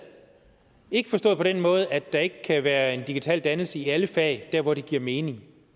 ikke forstået på den måde at der ikke kan være digital dannelse i alle fag der hvor det giver mening